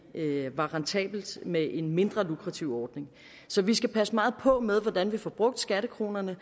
det var rentabelt med en mindre lukrativ ordning så vi skal passe meget på med hvordan vi får brugt skattekronerne